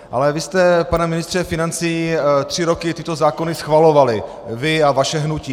Ale vy jste, pane ministře financí, tři roky tyto zákony schvalovali, vy a vaše hnutí.